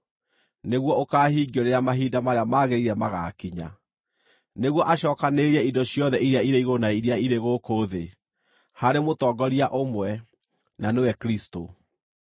nĩguo ũkaahingio rĩrĩa mahinda marĩa magĩrĩire magaakinya, nĩguo acookanĩrĩrie indo ciothe iria irĩ igũrũ na iria irĩ gũkũ thĩ harĩ mũtongoria ũmwe, na nĩwe Kristũ.